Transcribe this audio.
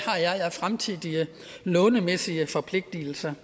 fremtidige lånemæssige forpligtelser